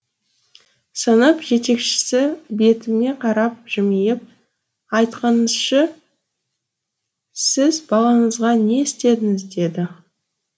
сынып жетекшісі бетіме қарап жымиып айтқаныңызшы сіз балаңызға не істедіңіз деді